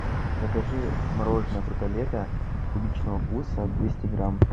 закажи мороженое фрутолето клубничного вкуса двести грамм